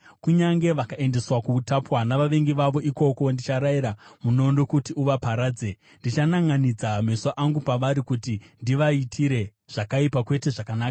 Kunyange vakaendeswa kuutapwa navavengi vavo, ikoko ndicharayira munondo kuti uvaparadze. Ndichananʼanidza meso angu pavari kuti ndivaitire zvakaipa, kwete zvakanaka.”